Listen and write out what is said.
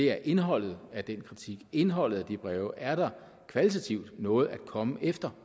er indholdet af den kritik indholdet af de breve er der kvalitativt noget at komme efter